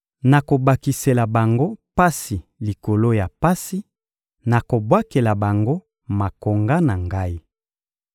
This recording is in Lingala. Nakobakisela bango pasi likolo ya pasi, nakobwakela bango makonga na Ngai.